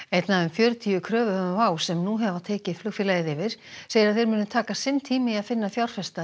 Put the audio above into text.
fjörutíu kröfuhöfum WOW sem nú hafa tekið flugfélagið yfir segir að þeir muni taka sinn tíma í að finna fjárfesta